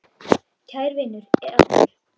Kær vinur er allur.